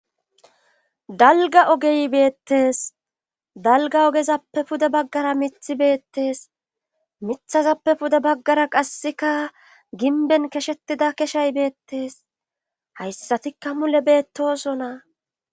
dalga ogey beettes dalga ogezappe pude baggara mithi beettes mithazappe pude baggara qasseka ginben keshettida keshay beettes hayssatikka mule beettosona